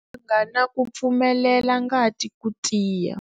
Mbanga na ku pfumelela ngati ku tiya.